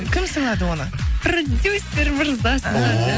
кім сыйлады оны продюсер мырза сыйлады